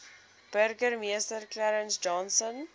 burgemeester clarence johnson